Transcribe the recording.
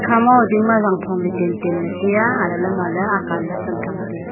akha moye dingma jangphom tan tan teya ale le mole akan ley teya.